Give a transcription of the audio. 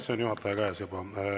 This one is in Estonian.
See on juhataja käes juba.